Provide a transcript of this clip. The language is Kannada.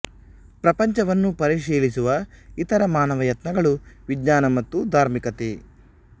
ಪ್ರಪಂಚವನ್ನು ಪರಿಶೀಲಿಸುವ ಇತರ ಮಾನವ ಯತ್ನಗಳು ವಿಜ್ಞಾನ ಮತ್ತು ಧಾರ್ಮಿಕತೆ